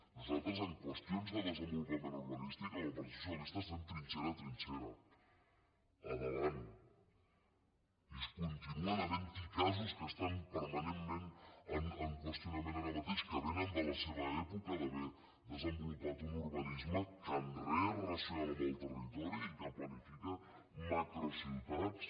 nosal·tres en qüestions de desenvolupament urbanístic amb el partit socialista estem trinxera a trinxera a davant i continuen havent·hi casos que estan permanentment en qüestionament ara mateix que vénen de la seva èpo·ca d’haver desenvolupat un urbanisme que en res és racional amb el territori i que planifica macrociutats